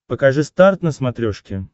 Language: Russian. покажи старт на смотрешке